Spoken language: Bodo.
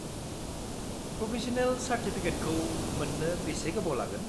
प्रभिज'नेल चार्टिफिकेटखौ मोन्नो बेसे गोबाव लागोन?